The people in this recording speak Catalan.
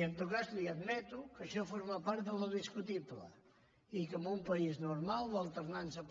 i en tot cas li admeto que això forma part del discutible i que en un país normal l’alternança